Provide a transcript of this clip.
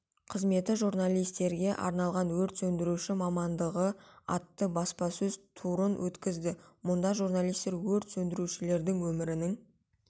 қызметі журналистерге арналған өрт сөндіруші мамандығы атты баспасөз турын өткізді мұнда журналистер өрт сөндірушілердің өмірінің